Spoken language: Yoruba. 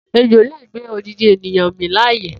Ejo le gbé odindin ènìyàn min láàyè